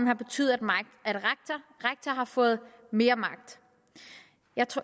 har betydet at rektor har fået mere magt